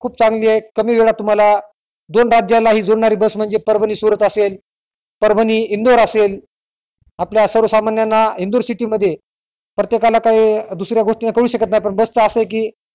खूप चांगली आहे कमी वेळात तुमाला दोन राज्यांला हि बस म्हणजे परभणी सुरत असेल परभणी इंदोर असेल आपल्या सर्वसामान्यांना इंदोर city मध्ये प्रत्येकाला काही दुसऱ्या गोष्टी कडू शकत नाही पण बस चा असं आहे कि